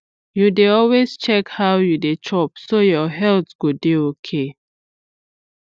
you dey always check how you dey chop so your health go dey okay